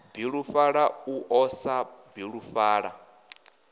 bilufhala u ḓo sa bilufhala